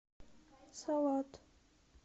салат